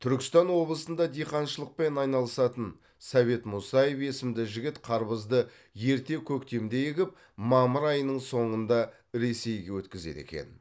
түркістан облысында диқаншылықпен айналысатын совет мусаев есімді жігіт қарбызды ерте көктемде егіп мамыр айының соңында ресейге өткізеді екен